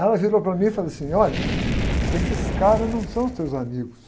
Ela virou para mim e falou assim, olha, esses caras não são os teus amigos.